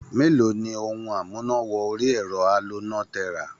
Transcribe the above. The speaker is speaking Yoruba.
Mélòó ni ohun amúná-wọ-orí-ẹ̀rọ aloná tẹ rà?